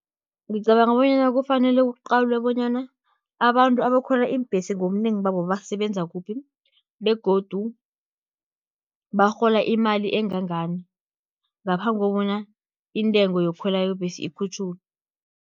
Ngicabanga bonyana kufanele kuqalwe, bonyana abantu abakhwela iimbhesi ngobunengi babo basebenza kuphi, begodu barhola imali engangani, ngaphambi kobana intengo yokukhwela kwebhesi ikhutjhulwe.